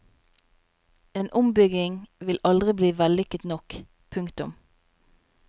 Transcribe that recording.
En ombygging vil aldri bli vellykket nok. punktum